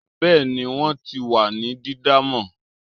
bẹẹni, wọn ti wa ni didan mọ